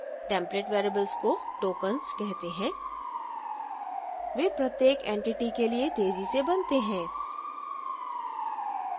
template variables को tokens कहते हैं वे प्रत्येक entity के लिए तेजी से बनते हैं